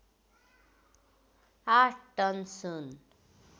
आठ टन सुन